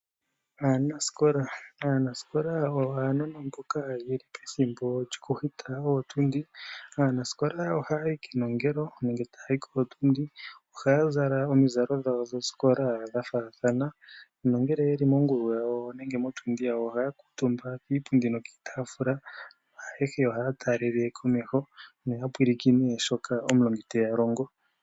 Aanasikola . Aanasikola oyo aanona mboka yeli pethimbo lyo ku hita ootundi. Aanasikola oha yayi kenongelo nenge ta yayi kootundi . Ohaya zala omidhalo dhawo dhosikola dha faathana nongele yeli mongulu nenge motundi yawo ohaya kuutumba kiipundi nokiitaafula naayehe ohaya taalele komeho yo ya pulakene shoka omulongi te ya longo.